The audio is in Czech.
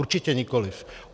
Určitě nikoli.